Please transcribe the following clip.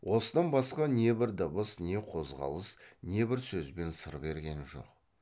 осыдан басқа не бір дыбыс не қозғалыс не бір сөзбен сыр берген жоқ